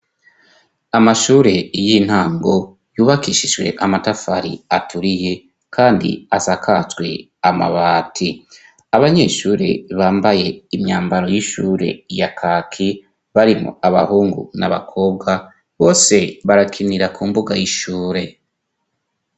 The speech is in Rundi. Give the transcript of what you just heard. Amashure y'intango yubakishijwe amatafari aturiye kandi asakajwe amabati. Abanyeshure bambaye imyambaro y'ishure ya kaki barimwo abahungu n'abakobwa bose barakinira ku mbuga y'ishure.